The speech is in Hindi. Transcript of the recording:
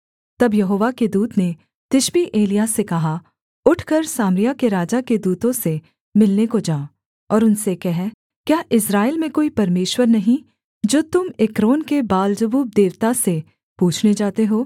तब यहोवा के दूत ने तिशबी एलिय्याह से कहा उठकर सामरिया के राजा के दूतों से मिलने को जा और उनसे कह क्या इस्राएल में कोई परमेश्वर नहीं जो तुम एक्रोन के बालजबूब देवता से पूछने जाते हो